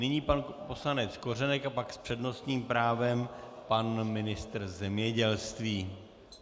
Nyní pan poslanec Kořenek a pak s přednostním právem pan ministr zemědělství.